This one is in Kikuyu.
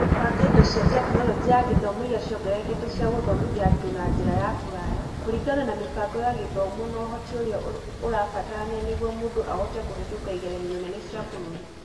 Gũbanga indo cia Tekinoronjĩ ya Gĩthomo iria ciongererekete cia gũthomithia andũ na njĩra ya kũraya kũringana na mĩbango ya gĩthomo na ũhoti ũrĩa ũrabatarania nĩguo mũndũ ahote kũhetũka igeranio nene cia bũrũri.